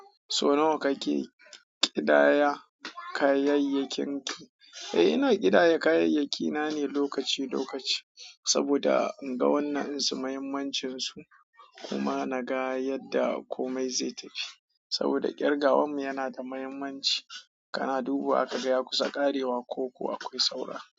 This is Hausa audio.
Sau nawa kake ƙidaya kayayyakinki? Eh, ina ƙidaya kayayyaki nane lokaci lokaci, saboda inga wannan dinsu mahimmancinsu. Kuma na ga yadda komai zai tafi. Saboda ƙirgawanmu yana da mahimmanci. Kana dubuwa kaga ya kusa ƙarewa koko akwai saura.